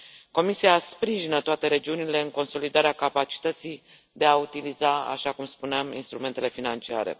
Comisia sprijină toate regiunile în consolidarea capacității de a utiliza, așa cum spuneam, instrumentele financiare.